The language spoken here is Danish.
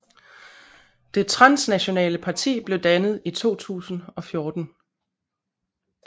Det transnationale parti blev dannet i 2014